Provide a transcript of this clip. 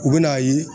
U bɛ n'a ye